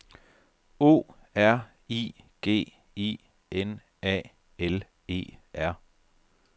O R I G I N A L E R